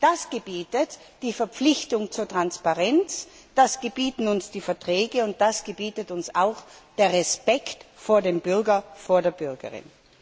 Das gebietet die Verpflichtung zur Transparenz, das gebieten uns die Verträge, und das gebietet uns auch der Respekt vor dem Bürger, vor der Bürgerin.